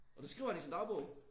Og det skriver han i sin dagbog